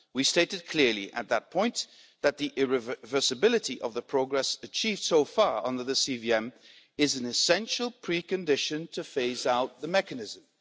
We stated clearly at that point that the irreversibility of the progress achieved so far under the CVM is an essential precondition to phase out the mechanism.